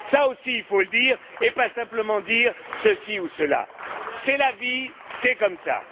Cela aussi, il faut le dire, et pas simplement dire ceci ou cela. C'est la vie, c'est comme ça.